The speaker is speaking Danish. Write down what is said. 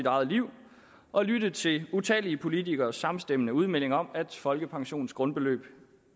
eget liv og lytte til utallige politikeres samstemmende udmeldinger om at folkepensionens grundbeløb